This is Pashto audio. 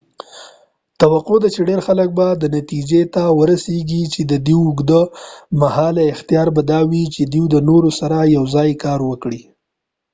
توقع ده چی ډیر خلک به دی نتیجی ته ورسیږی چی ددوی اوږد مهاله اختیار به دا وی چی دوۍ د نورو سره یو ځای کار وکړي